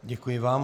Děkuji vám.